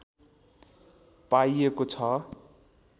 पाइएको छ